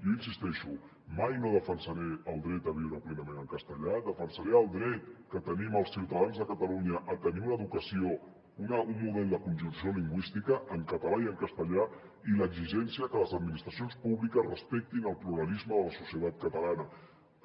jo hi insisteixo mai no defensaré el dret a viure plenament en castellà defen·saré el dret que tenim els ciutadans de catalunya a tenir una educació un model de conjunció lingüística en català i en castellà i l’exigència que les administracions pú·bliques respectin el pluralisme de la societat catalana